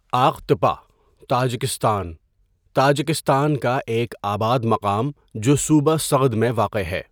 آق تپہ، Tajikistan Tajikistan کا ایک آباد مقام جو صوبہ سغد میں واقع ہے.